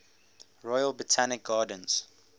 royal botanic gardens